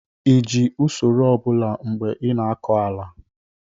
ị ji usoro ọ bụla mgbe ị na-akọ ala?